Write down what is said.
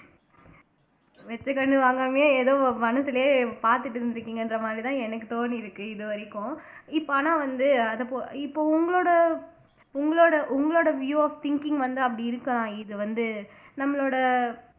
வச்சு கண்ணு வாங்காமயே ஏதோ மனசுலயே பார்த்துட்டு இருந்திருக்கீங்கன்ற மாதிரிதான் எனக்கு தோன்றியிருக்கு இதுவரைக்கும் இப்ப ஆனா வந்து அதபோ இப்ப உங்களோட உங்களோட உங்களோட view of thinking வந்து அப்படி இருக்கலாம் இது வந்து நம்மளோட